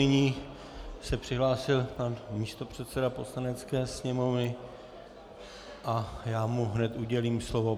Nyní se přihlásil pan místopředseda Poslanecké sněmovny a já mu hned udělím slovo.